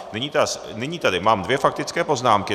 Nyní tady mám dvě faktické poznámky.